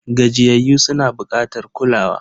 Gajiyayyu suna bukatar kulawa.